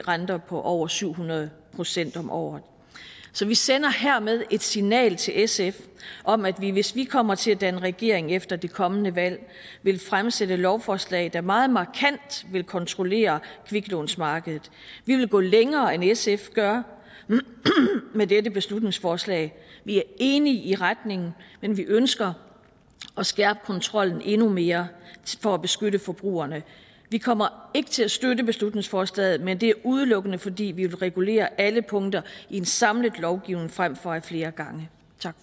renter på over syv hundrede procent om året så vi sender hermed et signal til sf om at vi hvis vi kommer til at danne regering efter det kommende valg vil fremsætte lovforslag der meget markant vil kontrollere kviklånsmarkedet vi vil gå længere end sf gør med dette beslutningsforslag vi er enige i retningen men vi ønsker at skærpe kontrollen endnu mere for at beskytte forbrugerne vi kommer ikke til at støtte beslutningsforslaget men det er udelukkende fordi vi vil regulere alle punkter i en samlet lovgivning frem for at flere gange